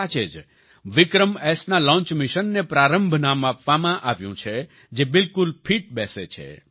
સાચે જ વિક્રમએસના લોન્ચ મિશનને પ્રારંભ નામ આપવામાં આવ્યું છે જે બિલકુલ ફિટ બેસે છે